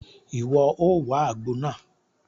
Iwọ o wá àgbo náà!